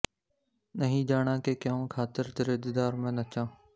ਨਹੀਂ ਜਾਣਾਂ ਕਿ ਕਿਉਂ ਖ਼ਾਤਿਰ ਤੇਰੇ ਦੀਦਾਰ ਮੈਂ ਨੱਚਾਂ